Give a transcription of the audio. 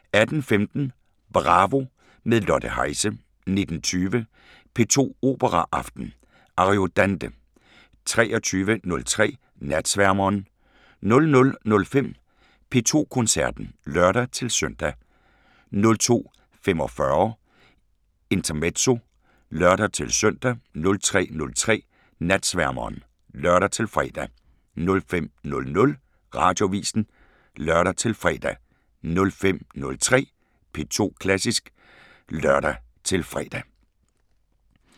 18:15: Bravo – med Lotte Heise 19:20: P2 Operaaften: Ariodante 23:03: Natsværmeren 00:05: P2 Koncerten (lør-søn) 02:45: Intermezzo (lør-søn) 03:03: Natsværmeren (lør-fre) 05:00: Radioavisen (lør-fre) 05:03: P2 Klassisk (lør-fre)